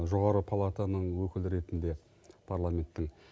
жоғарғы палатаның өкілі ретінде парламенттің